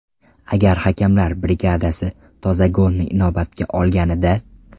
Agar hakamlar brigadasi toza golni inobatga olganida.